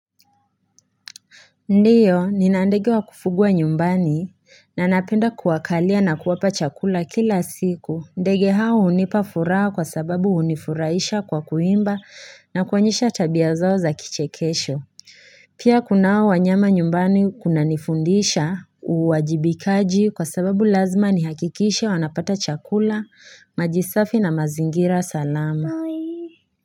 Ndiyo, nina ndege wa kufugwa nyumbani na napenda kuwakalia na kuwapa chakula kila siku. Ndege hao hunipa furaha kwa sababu hunifurahisha kwa kuimba na kuonyesha tabia zoaa za kichekesho. Pia kunao wanyama nyumbani kunanifundisha uwajibikaji kwa sababu lazima nihakikishe wanapata chakula, maji safi na mazingira salama.